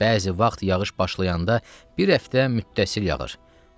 Bəzi vaxt yağış başlayanda bir həftə mütəssil yağır.